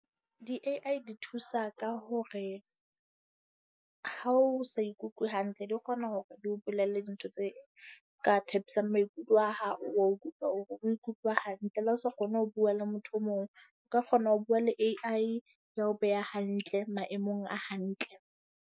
Di-A_I di thusa ka hore ha o sa ikutlwe hantle, di kgona hore di o bolelle dintho tse ka thabisang maikutlo a hao. Wa utlwa hore o nkutlwe hantle le ha o se kgone ho bua le motho o mong, o ka kgona ho bua le A_I ya o beha hantle maemong a hantle.